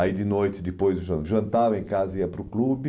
Aí de noite, depois do jan jantava em casa, e ia para o clube.